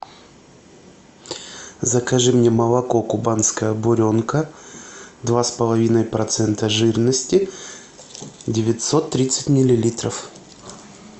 закажи мне молоко кубанская буренка два с половиной процента жирности девятьсот тридцать миллилитров